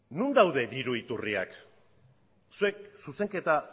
non daude diru iturriak zuek zuzenketa